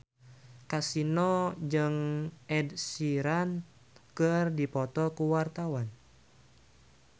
Kasino jeung Ed Sheeran keur dipoto ku wartawan